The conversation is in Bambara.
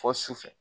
Fɔ su fɛ